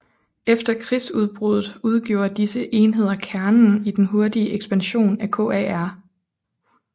Efter krigsudbruddet udgjorde disse enheder kernen i den hurtige ekspansion af KAR